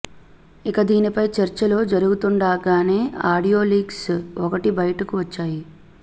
ఇక దీనిపై చర్చలు జరుగుతుండగానే ఆడియో లీక్స్ ఒకటి బయటకు వచ్చాయి